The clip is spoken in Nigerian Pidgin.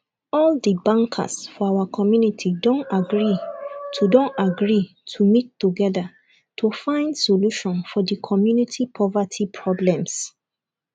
all the bankers for our community don agree to don agree to meet together to find solutions for the community poverty problems